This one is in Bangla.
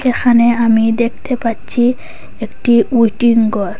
এখানে আমি দেখতে পাচ্ছি একটি উইটিং ঘর।